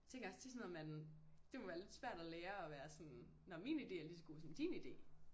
Tænker også det er sådan noget man det må være lidt svæt at lære at være sådan nå min idé er lige så god som din idé